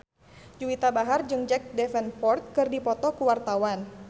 Juwita Bahar jeung Jack Davenport keur dipoto ku wartawan